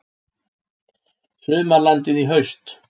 Sumarlandið í haust